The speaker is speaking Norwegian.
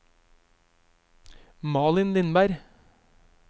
Malin Lindberg